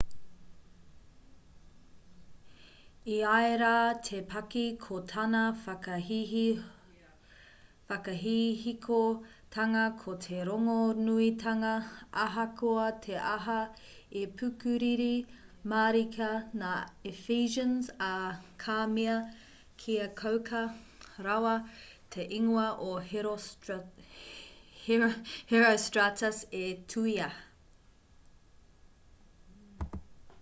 e ai rā te paki ko tana whakahihikotanga ko te rongonuitanga ahakoa te aha i pukuriri mārika ngā ephesians ā ka mea kia kauka rawa te ingoa o herostratus' e tuhia